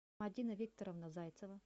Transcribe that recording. мадина викторовна зайцева